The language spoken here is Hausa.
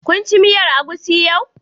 Ka ci miyar agushi yau?